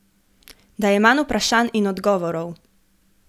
Da je manj vprašanj in odgovorov.